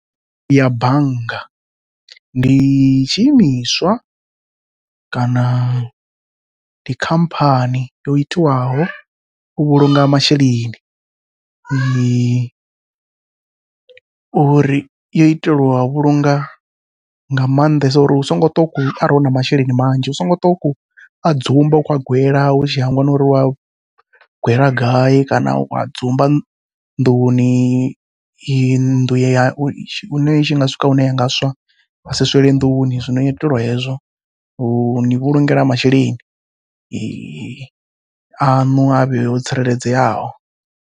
Ya bannga, ndi tshi imiswa kana ndi khamphani yo itiwaho u vhulunga masheleni, uri yo itelwa u vhulunga nga maanḓesa uri u songo tou ṱwa arali u na masheleni manzhi u songo ṱwa u khou a dzumba u khou a gwela utshi hangwa na uri wo a gwela gai, kana wa dzumba nḓuni iyi nnḓu hune yanga i nga swika hune ya nga swa yasi swele nḓuni, zwino yo itelwa hezwo uni vhulungela masheleni aṋu a vhe o tsireledzeaho.